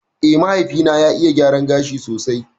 Eh, mahaifi na ya iya gyaran gashi sosai